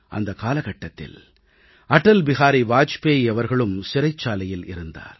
அந்த காலகட்டத்தில் அடல் பிஹாரி வாஜ்பாயி அவர்களும் சிறைச்சாலையில் இருந்தார்